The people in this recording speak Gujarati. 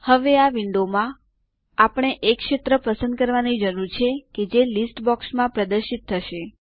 હવે આ વિન્ડોમાં આપણે એ ક્ષેત્ર પસંદ કરવાની જરૂર છે કે જે લીસ્ટ બોક્સમાં પ્રદર્શિત થશે